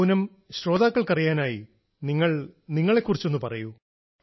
പൂനം ശ്രോതക്കൾ അറിയാനായി നിങ്ങൾ നിങ്ങളെക്കുറിച്ചൊന്നു പറയൂ